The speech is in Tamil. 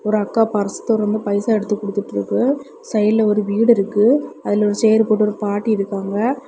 ஒரு அக்கா பரிசு தொறந்து பைசா எடுத்து குடுத்துட்டு இருக்கு சைடுல ஒரு வீடு இருக்கு அதுல ஒரு சேர் போட்டு ஒரு பாட்டி இருக்காங்க.